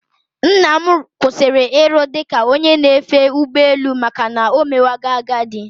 Nnam kwụsịrị iru dị ka onye na-efe ụgbọ elu maka na omewago agadi